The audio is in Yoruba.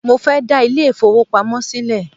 Mo fẹ́ dá ilé ìfowópamọ́ sílẹ̀